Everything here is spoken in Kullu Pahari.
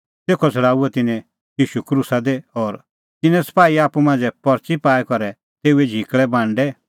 तेखअ छ़ड़ाऊअ तिन्नैं ईशू क्रूसा दी और तिन्नैं सपाही आप्पू मांझ़ै परच़ी पाई करै तेऊए झिकल़ै बांडै